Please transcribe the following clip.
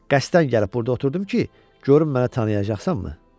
Qəsdən gəlib burda oturdum ki, görüm məni tanıyacaqsanmı?